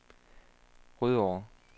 Rødovre